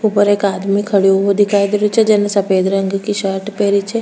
ऊपर एक आदमी खडेयो दिखाई दे रो छे जेन सफ़ेद रंग की शर्ट पहरी छे।